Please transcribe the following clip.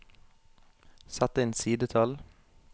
Sett inn sidetall